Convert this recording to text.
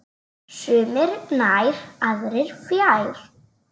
Sumir nær, aðrir fjær.